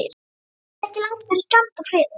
Leitaðu ekki langt yfir skammt að friði.